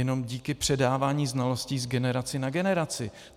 Jenom díky předávání znalostí z generace na generaci.